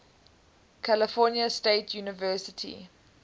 california state university